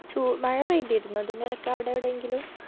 ചൂ മഴ പെയ്തിർന്നോ ഇതിൻറെടക്ക് അവിട എവിടെങ്കിലും